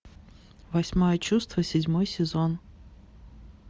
восьмое чувство седьмой сезон